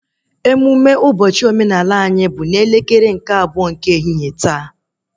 Ụbọchị emụme omenala anyị bụ n'elekere abụọ nke ehihie